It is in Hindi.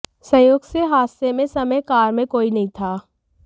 संयोग से हादसे में समय कार में कोई नहीं था